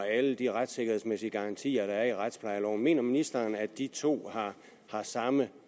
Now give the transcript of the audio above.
alle de retssikkerhedsmæssige garantier der er i retsplejeloven mener ministeren at de to har samme